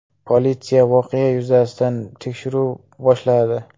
Politsiya voqea yuzasidan tekshiruv boshladi.